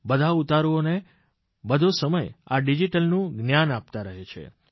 બધા ઉતારૂને બધો સમય આ ડીજીટલનું જ્ઞાન આપતા રહે છે